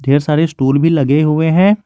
ढेर सारे स्टूल भी लगे हुए हैं।